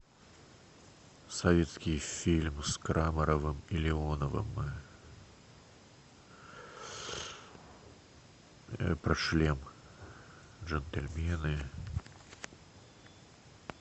советский фильм с крамаровым и леоновым про шлем джентльмены